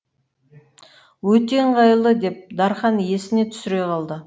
өте ыңғайлы деп дарқан есіне түсіре қалды